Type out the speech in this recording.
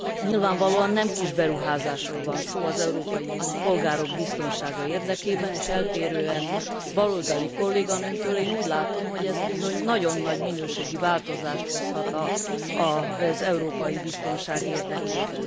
Nyilvánvalóan nem kis beruházásról van szó az európai polgárok biztonsága érdekében, és eltérően baloldali kolléganőmtől, én úgy látom, hogy ez bizony nagyon nagy minőségi változást hozhat az európai biztonság érdekében.